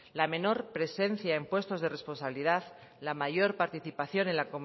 la menor presencia en puestos de responsabilidad la mayor participación en la